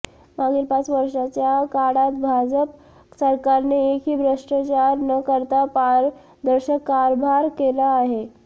मागील पाच वर्षाच्या काळात भाजप सरकारने एकही भ्रष्टाचार न करता पारदर्शक कारभार केला आहे